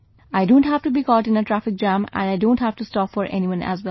I don't have to be caught in a traffic jam and I don't have to stop for anyone as well